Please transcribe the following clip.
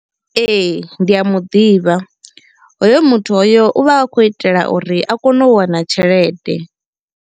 Ee ndi a muḓivha. Hoyo muthu hoyo u vha a khou itela uri a kono u wana tshelede.